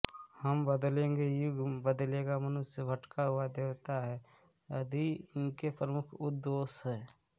हम बदलेंगे युग बदलेगा मनुष्य भटका हुआ देवता है आदि इनके प्रमुख उद्घोष है